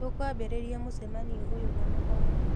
Tũkwambĩrĩria mũcemanio ũyũ na mahoya